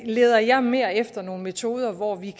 leder jeg mere efter nogle metoder hvor vi